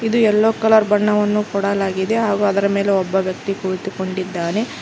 ಇದು ಎಲ್ಲೋ ಕಲರ್ ಬಣ್ಣವನ್ನು ಕೊಡಲಾಗಿದೆ ಹಾಗು ಅದರ ಮೇಲೆ ಒಬ್ಬ ವ್ಯಕ್ತಿ ಕುಳಿತುಕೊಂಡಿದ್ದಾನೆ.